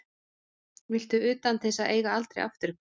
Viltu utan til þess að eiga aldrei afturkvæmt?